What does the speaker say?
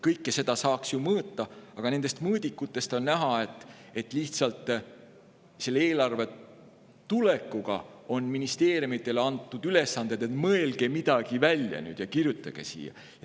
Kõike seda saaks ju mõõta, aga nendest mõõdikutest on näha, et lihtsalt selle eelarve tulekuga on ministeeriumidele antud ülesanne: "Mõelge nüüd midagi välja ja kirjutage siia.